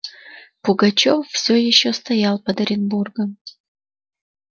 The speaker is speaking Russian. пугачёв всё ещё стоял под оренбургом